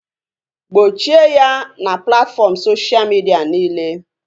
Gbochie ya na platfọm soshal midia niile!